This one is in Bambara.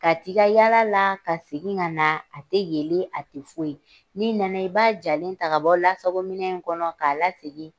Ka ti ka yala la ka segin ka na a tɛ yelen a tɛ foyi n'i nana i b'a jalen ta kabɔ lasagominɛn in kɔnɔ k'a la segin.